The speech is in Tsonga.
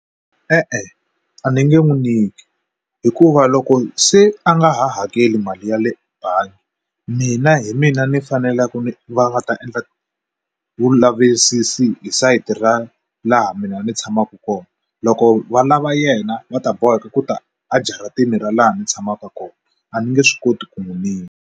E-e, a ni nge n'wi nyiki hikuva loko se a nga ha hakeli mali yale bangi mina hi mina ni faneleke ni va nga ta endla vulavisisi hi side ra laha mina ni tshamaka kona loko valava yena va ta boheka ku ta ajaratini ra laha ni tshamaka kona a ni nge swi koti ku n'wi .